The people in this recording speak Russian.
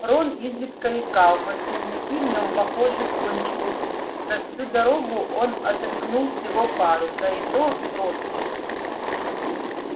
рон изредка икал но слизняки в нем похоже кончились за всю дорогу он отрыгнул всего пару да и то крошечных